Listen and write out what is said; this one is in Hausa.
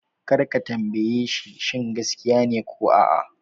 Kar ka tambaye shi shin gaskiya ne ko a'a!